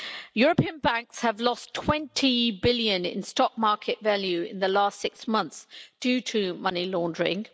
European banks have lost EUR 20 billion in stock market value in the last six months, due to money laundering.